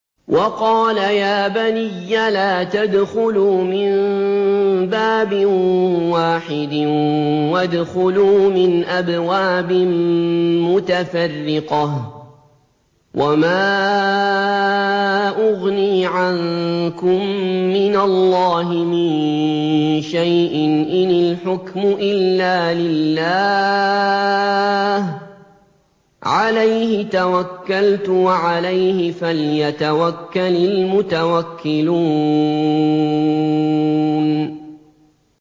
وَقَالَ يَا بَنِيَّ لَا تَدْخُلُوا مِن بَابٍ وَاحِدٍ وَادْخُلُوا مِنْ أَبْوَابٍ مُّتَفَرِّقَةٍ ۖ وَمَا أُغْنِي عَنكُم مِّنَ اللَّهِ مِن شَيْءٍ ۖ إِنِ الْحُكْمُ إِلَّا لِلَّهِ ۖ عَلَيْهِ تَوَكَّلْتُ ۖ وَعَلَيْهِ فَلْيَتَوَكَّلِ الْمُتَوَكِّلُونَ